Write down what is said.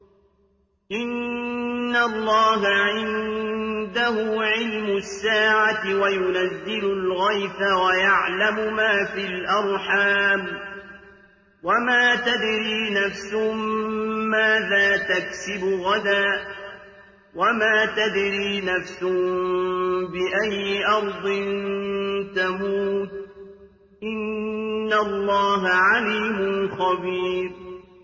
إِنَّ اللَّهَ عِندَهُ عِلْمُ السَّاعَةِ وَيُنَزِّلُ الْغَيْثَ وَيَعْلَمُ مَا فِي الْأَرْحَامِ ۖ وَمَا تَدْرِي نَفْسٌ مَّاذَا تَكْسِبُ غَدًا ۖ وَمَا تَدْرِي نَفْسٌ بِأَيِّ أَرْضٍ تَمُوتُ ۚ إِنَّ اللَّهَ عَلِيمٌ خَبِيرٌ